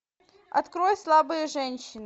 открой слабые женщины